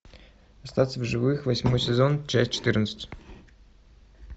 остаться в живых восьмой сезон часть четырнадцать